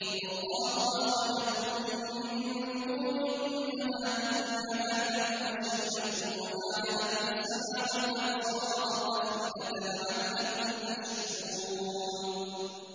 وَاللَّهُ أَخْرَجَكُم مِّن بُطُونِ أُمَّهَاتِكُمْ لَا تَعْلَمُونَ شَيْئًا وَجَعَلَ لَكُمُ السَّمْعَ وَالْأَبْصَارَ وَالْأَفْئِدَةَ ۙ لَعَلَّكُمْ تَشْكُرُونَ